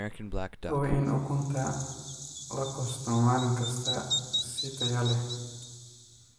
Hubi in ukunta la goosto maalin kasta si tayo leh.